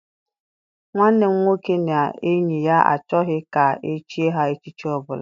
Nwanne m nwoke na enyi ya achọghị ka echie ha echichi ọbụla.